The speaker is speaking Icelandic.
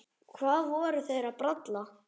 Hvað voru þeir að bralla?